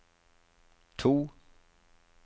to